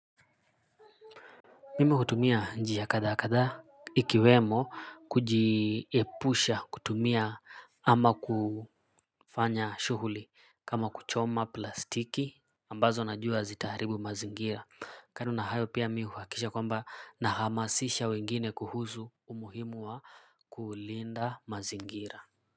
Mimi hutumia njia kadhaa kathaa ikiwemo kujiepusha kutumia ama kufanya shughuli kama kuchoma plastiki ambazo najua zitaharibu mazingira kando na hayo pia mimi huhakisha kwamba ninahamasisha wengine kuhusu umuhimu wa kulinda mazingira.